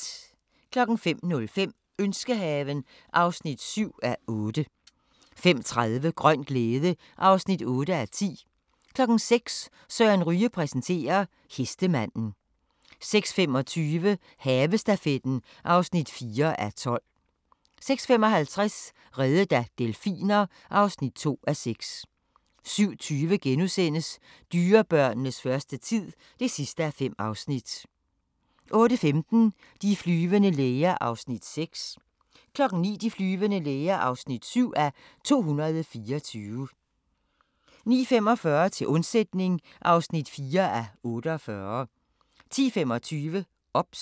05:05: Ønskehaven (7:8) 05:30: Grøn glæde (8:10) 06:00: Søren Ryge præsenterer: Hestemanden 06:25: Havestafetten (4:12) 06:55: Reddet af delfiner (2:6) 07:20: Dyrebørnenes første tid (5:5)* 08:15: De flyvende læger (6:224) 09:00: De flyvende læger (7:224) 09:45: Til undsætning (4:48) 10:25: OBS